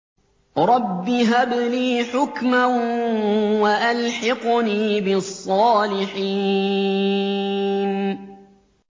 رَبِّ هَبْ لِي حُكْمًا وَأَلْحِقْنِي بِالصَّالِحِينَ